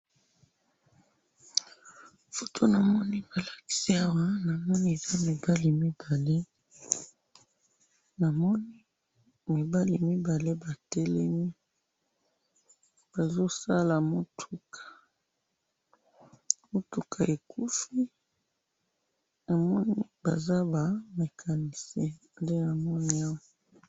Foto namoni balakisi awa, namoni eza mibali mibale, namoni mibali mibale batelemi, bazosala mutuka, mutuka ekufi, namoni baza ba mecanicien, nde namoni awa.